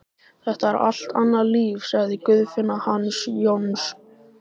Þetta er allt annað líf, sagði Guðfinna hans Jóns.